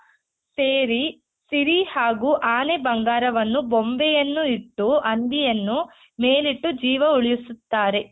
ಸೇರಿ ಸಿರಿ ಹಾಗೂ ಆನೆ ಬಂಗಾರವನ್ನು ಗೊಂಬೆಯನ್ನು ಇಟ್ಟು ಹಂದಿಯನ್ನು ಮೇಲಿಟ್ಟು ಜೀವ ಉಳಿಸುತ್ತಾರೆ.